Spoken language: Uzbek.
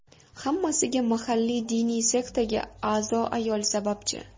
Hammasiga mahalliy diniy sektaga a’zo ayol sababchi.